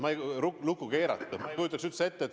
Ma ei kujutaks seda üldse ette.